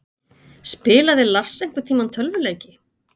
Spilaði Lars einhverntímann tölvuleiki?